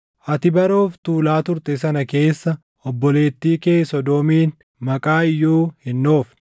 Ati bara of tuulaa turte sana keessa obboleettii kee Sodoomiin maqaa iyyuu hin dhoofne;